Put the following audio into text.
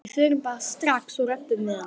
Við förum bara strax og röbbum við hann.